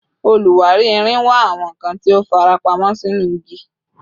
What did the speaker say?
Oluwari irin wa awọn nkan ti o farapamọ sinu igi